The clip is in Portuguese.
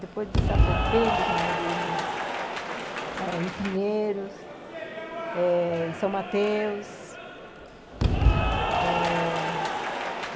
Depois de Sapopemba, já morei no eh em Pinheiros eh, em São Mateus ãh...